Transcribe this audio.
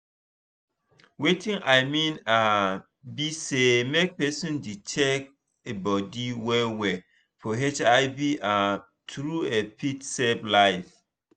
watin i mean um be say make person dey check e body well well for hiv um true e fit save life.